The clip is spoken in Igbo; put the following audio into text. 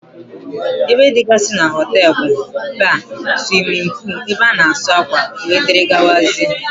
Ébé dịgasị n'hotelu bụ: Baar, swimin poolu, ebe ana asụ akwa wdg.